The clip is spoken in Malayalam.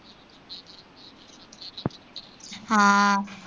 ആ